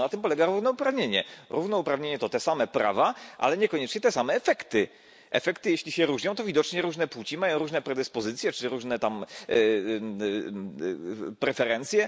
No tak na tym polega równouprawnienie. Równouprawnienie to te same prawa, ale niekoniecznie te same efekty. Jeśli efekty się różnią, to widocznie różne płcie mają różne predyspozycje czy różne preferencje.